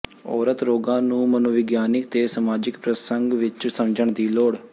ਔਰਤ ਰੋਗਾਂ ਨੂੰ ਮਨੋਵਿਗਿਆਨਕ ਤੇ ਸਮਾਜਿਕ ਪ੍ਰਸੰਗ ਵਿੱਚ ਸਮਝਣ ਦੀ ਲੋੜ